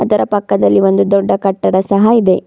ಇದರ ಪಕ್ಕದಲ್ಲಿ ಒಂದು ದೊಡ್ಡ ಕಟ್ಟಡ ಸಹ ಇದೆ.